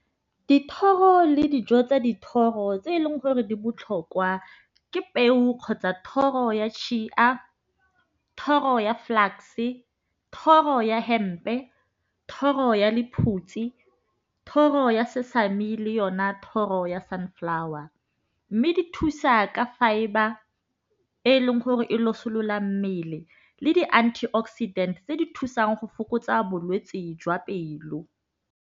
Dithoro le dijo tsa dithoro tse eleng gore di botlhokwa ke peo kgotsa thoro ya thoro ya flux-e, thoro ya hempe, thoro ya lephutsi, thoro ya se-family yona thoro ya sunflower. Mme di thusa ka fibre e leng gore e losilola mmele le di antioxidant tse di thusang go fokotsa bolwetsi jwa pelo.